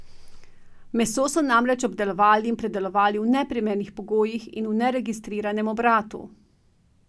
Meso so namreč obdelovali in predelovali v neprimernih pogojih in v neregistriranem obratu.